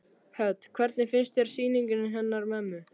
Hödd: Hvernig finnst þér sýningin hennar mömmu?